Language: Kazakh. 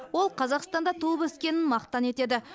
ол қазақстанда туып өскенін мақтан етеді